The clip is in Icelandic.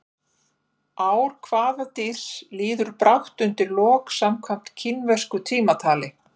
Ár hvaða dýrs líður brátt undir lok samkvæmt kínversku tímatali?